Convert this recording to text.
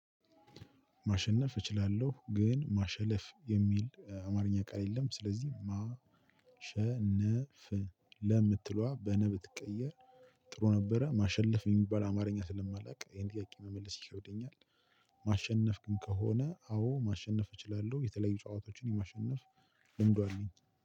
ማሸነፍ እችላለሁ ግን ማሸለፍ የሚል አማርኛ ቃል የለም ስለዚህ ማሸነፍ ለምትሏ በነብትቀየር ጥሩ ነበረ ማሸለፍ የሚባል አማርኛ ስለማላቅ ይሄን ጥያቄ መመለስ ይከብደኛል። ማሸነፍ ግን ከሆነ አዎ ማሸነፍ እችላለሁ የተለያዩ ጨዋታዎችን የማሸነፍ ልምዱ አለኝ።